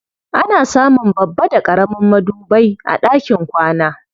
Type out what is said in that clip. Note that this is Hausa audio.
Ana samun babba da ƙaramin madubai a ɗakin kwana.